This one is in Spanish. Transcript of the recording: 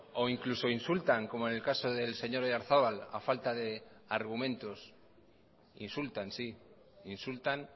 o incluso insultan como en el caso del señor oyarzabal a falta de argumentos insultan sí insultan